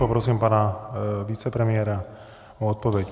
Poprosím pana vicepremiéra o odpověď.